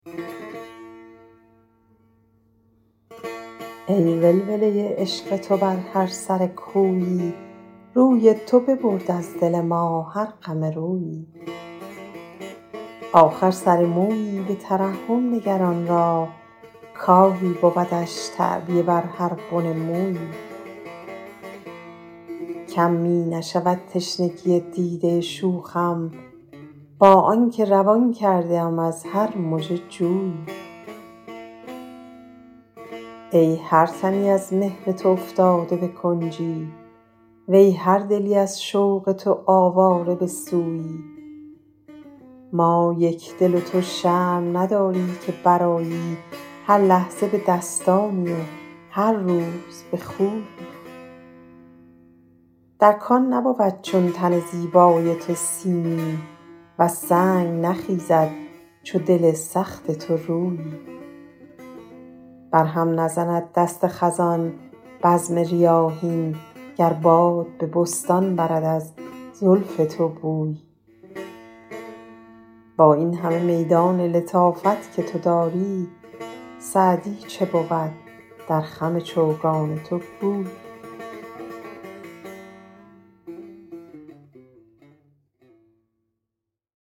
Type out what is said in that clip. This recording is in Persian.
ای ولوله عشق تو بر هر سر کویی روی تو ببرد از دل ما هر غم رویی آخر سر مویی به ترحم نگر آن را کآهی بودش تعبیه بر هر بن مویی کم می نشود تشنگی دیده شوخم با آن که روان کرده ام از هر مژه جویی ای هر تنی از مهر تو افتاده به کنجی وی هر دلی از شوق تو آواره به سویی ما یکدل و تو شرم نداری که برآیی هر لحظه به دستانی و هر روز به خویی در کان نبود چون تن زیبای تو سیمی وز سنگ نخیزد چو دل سخت تو رویی بر هم نزند دست خزان بزم ریاحین گر باد به بستان برد از زلف تو بویی با این همه میدان لطافت که تو داری سعدی چه بود در خم چوگان تو گویی